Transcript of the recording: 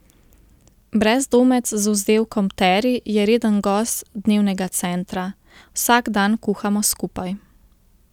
Brezdomec z vzdevkom Teri je reden gost Dnevnega centra: 'Vsak dan kuhamo skupaj.